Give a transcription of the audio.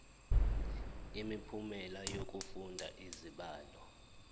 imiphumela yokufunda izibalo